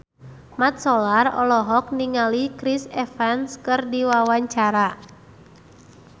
Mat Solar olohok ningali Chris Evans keur diwawancara